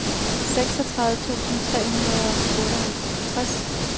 seksogtredive tusind tre hundrede og otteoghalvtreds